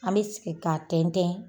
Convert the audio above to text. An be siki ka tɛntɛn .